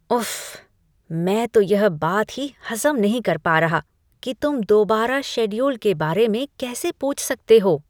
उफ्फ, मैं तो यह बात ही हज़म नहीं कर पा रहा कि तुम दोबारा शेड्यूल के बारे में कैसे पूछ सकते हो!